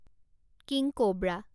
king cobra